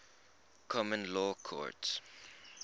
common law courts